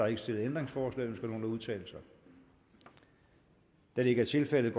ikke stillet ændringsforslag ønsker nogen at udtale sig da det ikke er tilfældet går